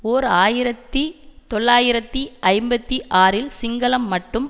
ஓர் ஆயிரத்தி தொள்ளாயிரத்தி ஐம்பத்தி ஆறில் சிங்களம் மட்டும்